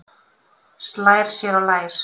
Slær sér á lær.